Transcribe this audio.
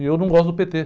E eu não gosto do pê-tê.